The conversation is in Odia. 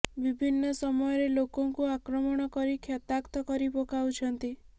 ବିଭିନ୍ନ ସମୟରେ ଲୋକଙ୍କୁ ଆକ୍ରମଣ କରି କ୍ଷତାକ୍ତ କରି ପକାଉଛନ୍ତି